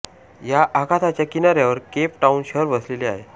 या आखाताच्या किनाऱ्यावर केप टाउन शहर वसलेले आहे